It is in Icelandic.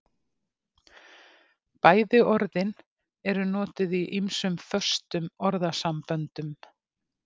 Bæði orðin eru notuð í ýmsum föstum orðasamböndum.